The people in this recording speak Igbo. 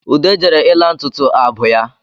Ude jere ịla ntutu abụ ya